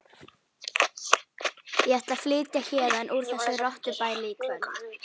Ég ætla að flytja héðan úr þessu rottubæli í kvöld.